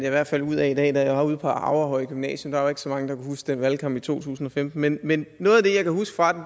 i hvert fald ud af i dag da jeg var ude på aurehøj gymnasium der var ikke så mange der kunne huske den valgkamp i to tusind og femten men men noget af det jeg kan huske fra den